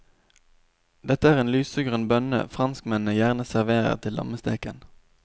Dette er en lysegrønn bønne franskmennene gjerne serverer til lammesteken.